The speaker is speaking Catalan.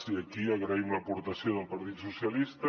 i aquí agraïm l’aportació del partit socialista